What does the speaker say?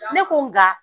Ne ko n ga